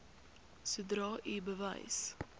sodra u bewus